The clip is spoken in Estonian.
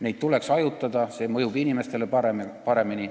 Neid tuleks hajutada, see mõjub inimestele paremini.